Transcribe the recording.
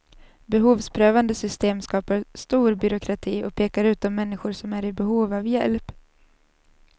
Behovsprövande system skapar stor byråkrati och pekar ut de människor som är i behov av hjälp.